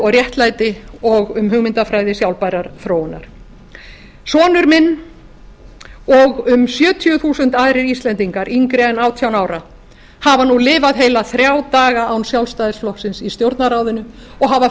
og réttlæti og um hugmyndafræði sjálfbærrar þróunar sonur minn og um sjötíu þúsund aðrir íslendingar yngri en átján ára hafa nú lifað heila þrjá daga án sjálfstæðisflokksins í stjórnarráðinu og hafa